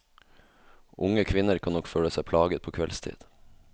Unge kvinner kan nok føle seg plaget på kveldstid.